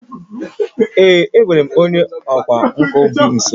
Ee, e nwere onye ọkwá nkà bi nso